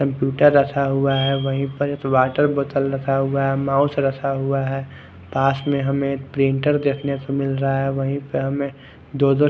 computer रखा हुआ है वही पर एक वाटर बोतल रखा हुआ है माउस रखा हुआ है पास मे हमे एक प्रिंटर दिखने को मिल रहा है वही पर हमे दो दो--